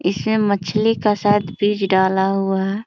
इसमें मछली का शायद बीज डाला हुआ है ।